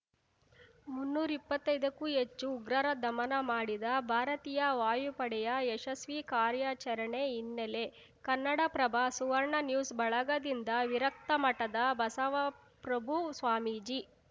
ಮುನ್ನೂರ್ ಇಪ್ಪತ್ತೈದಕ್ಕೂ ಹೆಚ್ಚು ಉಗ್ರರ ದಮನ ಮಾಡಿದ ಭಾರತೀಯ ವಾಯುಪಡೆಯ ಯಶಸ್ವಿ ಕಾರ್ಯಾಚರಣೆ ಹಿನ್ನೆಲೆ ಕನ್ನಡಪ್ರಭಸುವರ್ಣ ನ್ಯೂಸ್‌ ಬಳಗದಿಂದ ವಿರಕ್ತ ಮಠದ ಬಸವಪ್ರಭು ಸ್ವಾಮೀಜಿ